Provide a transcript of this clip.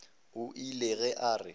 o ile ge a re